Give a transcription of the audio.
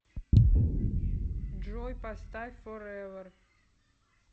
джой поставь форевер